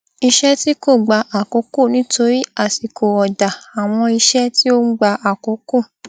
iṣẹ tí kò gba àkókò nítorí àsìkò ọdá àwọn iṣẹ tí ó gba àkókò